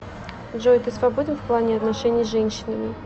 джой ты свободен в плане отношений с женщинами